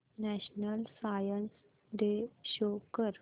national Science Day show कर